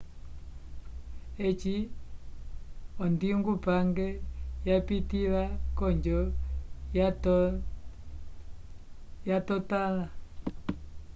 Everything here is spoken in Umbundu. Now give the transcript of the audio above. eci ondingupange yapitĩla onjo yatotãla